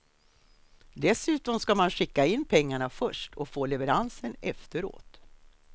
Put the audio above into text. Dessutom ska man skicka in pengarna först och få leveransen efteråt.